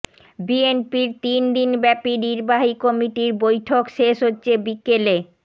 বিএনপির তিন দিনব্যাপী নির্বাহী কমিটির বৈঠক শেষ হচ্ছে বিকেলে